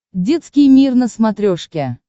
детский мир на смотрешке